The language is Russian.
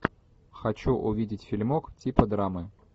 хочу увидеть фильмок типа драмы